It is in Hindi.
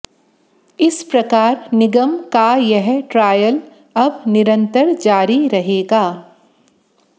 इस प्रकार निगम का यह ट्रायल अब निरंतर जारी रहेगा